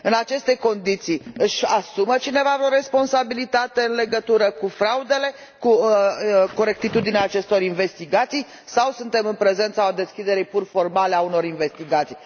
În aceste condiții, își asumă cineva vreo responsabilitate în legătură cu fraudele, cu corectitudinea acestor investigații sau suntem în prezența deschiderii pur formale a unor investigații?